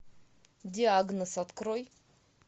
диагноз открой